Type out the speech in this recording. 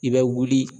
I bɛ wuli